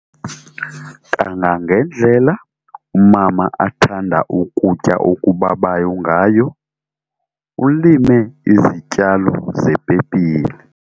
Kangangendlela umama athanda ukutya okubabayo ngako, ulime izityalo zepepile.